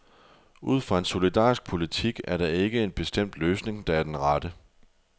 Ud fra en solidarisk politik er der ikke en bestemt løsning, der er den rette.